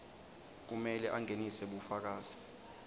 kumele angenise bufakazi